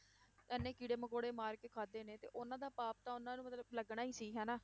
ਇੰਨੇ ਕੀੜੇ ਮਕੌੜੇ ਮਾਰ ਕੇ ਖਾਧੇ ਨੇ ਤੇ ਉਹਨਾਂ ਦਾ ਪਾਪ ਤਾਂ ਉਹਨਾਂ ਨੂੰ ਮਤਲਬ ਲੱਗਣਾ ਹੀ ਸੀ ਹਨਾ।